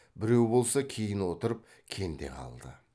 біреу болса кейін отырып кенде қалды